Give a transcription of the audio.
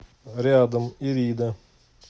рядом ирида